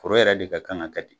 Foro yɛrɛ de ka kan ka kɛ ten.